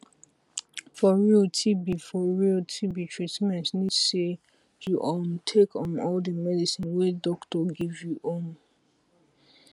for realtb for realtb treatment need say u um take um all the medicine wey doctor give you um